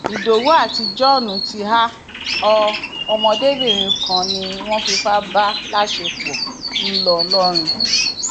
ìdòwú àti john ti há ọ ọmọdébìnrin kan ni wọn fipá bá láṣepọ ńlọrọrìn